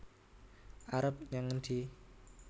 arep nyang endi